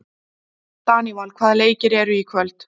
Daníval, hvaða leikir eru í kvöld?